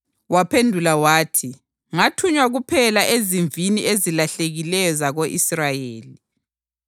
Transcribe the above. Waphendula wathi, “Ngathunywa kuphela ezimvini ezilahlekileyo zako-Israyeli.”